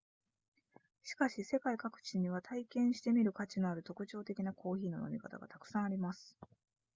しかし世界各地には体験してみる価値のある特徴的なコーヒーの飲み方がたくさんあります